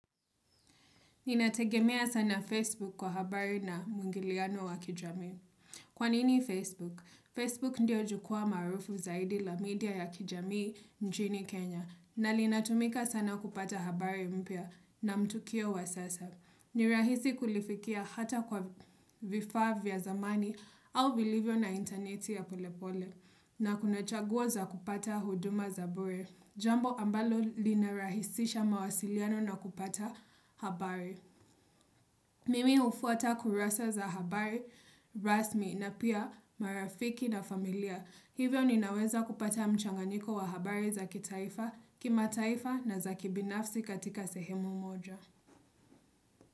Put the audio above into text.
Ninategemea sana Facebook kwa habari na mwingiliano wa kijamii. Kwa nini Facebook? Facebook ndio jukwa maarufu zaidi la media ya kijamii nchini Kenya na linatumika sana kupata habari mpya na mtukio wa sasa. Nirahisi kulifikia hata kwa vifaa vya zamani au vilivyo na interneti ya pole pole na kunachaguo za kupata huduma za bure. Jambo ambalo linarahisisha mawasiliano na kupata habari. Mimi hufuata kurasa za habari, rasmi na pia marafiki na familia. Hivyo ninaweza kupata mchanganiko wa habari zaki taifa, kimataifa na za kibinafsi katika sehemu moja.